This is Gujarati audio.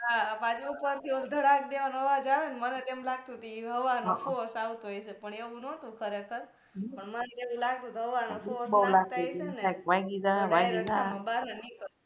હા પાછુ ઉપર થી ઓલુ ધડાક દેવાનો અવાજ આવે ને મને તો એમ લાગતુ તુ એ હવા નો force આવતો હશે પણ એવુ નોતુ ખરેખર પણ મને એવુ લાગતુ તુ હવા નો